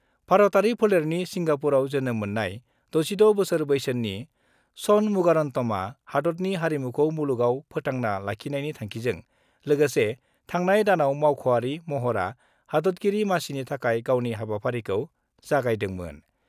भारतआरि फोलेरनि सिंगापुराव जोनोम मोन्नाय 66 बोसोर बैसोनि षणमुगारन्तमआ हादतनि हारिमुखौ मुलुगाव फोथांना लाखिनायनि थांखिजों लोगोसे थांनाय दानाव मावख'आरि महरा हादतगिरि मासिनि थाखाय गावनि हाबाफारिखौ जागायदोंमोन।